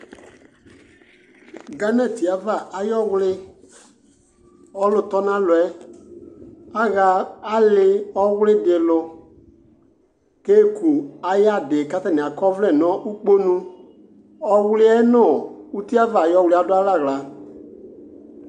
Ghana ti ava ayi ɔwli ɔlò tɔ n'alɔ yɛ aɣa ali ɔwli di lò k'eku ayi adi k'atani akɔ ɔvlɛ no ukponu ɔwli yɛ no uti ava ayi ɔwli yɛ adu alɛ ala